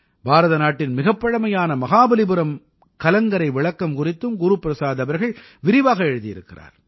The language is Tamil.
பாரதநாட்டின் மிகப் பழமையான மஹாபலிபுரம் கலங்கரை விளக்கம் குறித்தும் குரு பிரசாத் அவர்கள் விரிவாக எழுதியிருக்கிறார்